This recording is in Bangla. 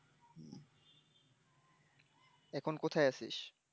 এখন কোথাই আছিস?